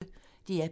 DR P1